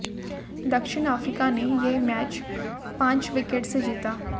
दक्षिण अफ्रीका ने यह मैच पांच विकेट से जीता